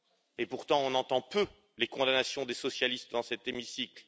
Et pourtant, nous entendons peu les condamnations des socialistes dans cet hémicycle.